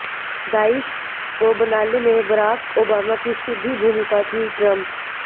Daesh को बनाने में बराक ओबामा की सीधी भूमिका थीः ट्रम्प